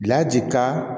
Bila ji ka